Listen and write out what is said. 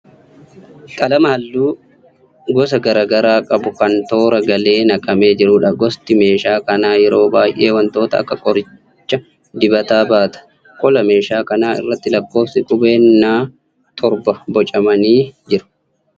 Qalama halluu gosa garaa garaa qabu kan toora galee naqamee jiruudha. Gosti meeshaa kanaa yeroo baay'ee wantoota akka qoricha dibataa baata. Qola meeshaa kana irratti lakkoofsi qubeen N torba boocamanii jiru.